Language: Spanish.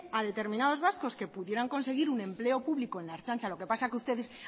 a determinados vascos que pudieran conseguir un empleo público en la ertzaintza lo que pasa que ustedes